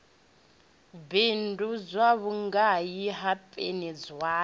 bindudzwa vhugai na peni zwayo